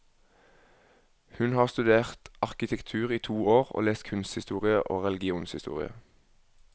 Hun har studert arkitektur i to år, og lest kunsthistorie og religionshistorie.